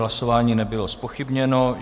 Hlasování nebylo zpochybněno.